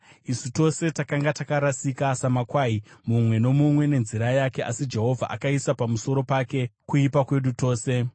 Isu tose takanga takarasika samakwai, mumwe nomumwe nenzira yake, asi Jehovha akaisa pamusoro pake kuipa kwedu tose.